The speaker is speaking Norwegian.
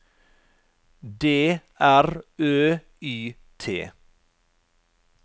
D R Ø Y T